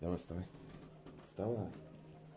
давай вставай вставай